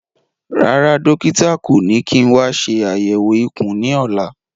Rárá, dókítà kò ní kí n wa ṣe àyẹ̀wò ikùn ní ọ̀la